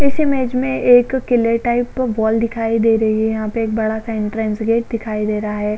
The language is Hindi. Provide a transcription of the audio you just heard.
इस इमेज में एक किले टाइप वॉल दिखाई दे रही है यहाँ पे एक बड़ा सा एंट्रेंस गेट दिखाई दे रहा है।